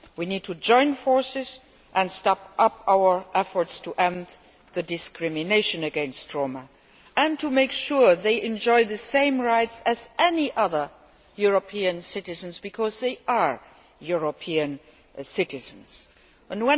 We need to join forces and step up our efforts to end discrimination against Roma and make sure they enjoy the same rights as any other European citizens, because that is what they are.